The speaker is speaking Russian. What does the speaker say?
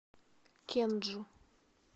кенджу